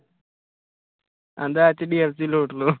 ਕਹਿੰਦਾ HDFC ਲੂਟ ਲਓ